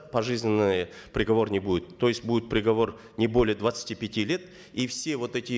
пожизненный приговор не будет то есть будет приговор не более двадцати пяти лет и все вот эти